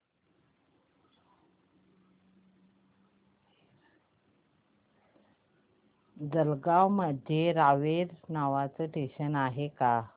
जळगाव मध्ये रावेर नावाचं स्टेशन आहे का